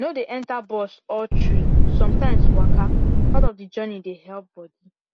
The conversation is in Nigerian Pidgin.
no dey enter bus all through sometimes waka part of the journey dey help body